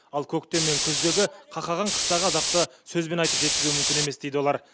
ал көктем мен күздегі қақаған қыстағы азапты сөзбен айтып жеткізу мүмкін емес дейді олар